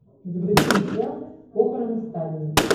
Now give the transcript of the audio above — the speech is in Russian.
загрузи мне сериал похороны сталина